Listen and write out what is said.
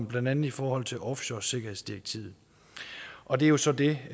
blandt andet i forhold til offshoresikkerhedsdirektivet og det er jo så det